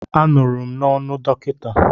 Anụrụ m n'ọnụ dọkịta.